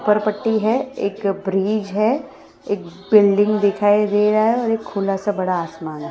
ऊपर पट्टी हैं एक ब्रिज हैं एक बिल्डिंग दिखाई दे रहा हैं और एक खुला सा बड़ा आसमान हैं ।